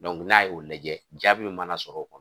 n'a y'o lajɛ jaabi min mana sɔrɔ o kɔnɔ.